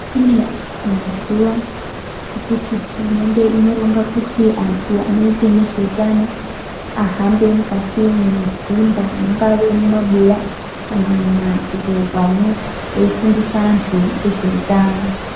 Kune mazuwa ekuti hurumende inoronga kuti antu anoita nezveutano ahambe mukati mwedzimba mungave mumabuya kana mumadhorobha mwo eifundisa antu ngezveutano.